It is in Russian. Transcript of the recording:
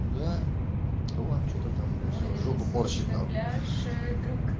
да он что то там в жопу уборщиков знающие друг